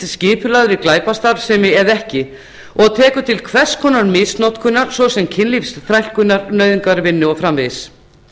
skipulagðri glæpastarfsemi eða ekki og tekur til hvers konar misnotkunar svo sem kynlífsþrælkunar nauðungarvinnu og svo framvegis